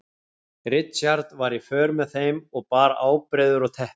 Richard var í för með þeim og bar ábreiður og teppi.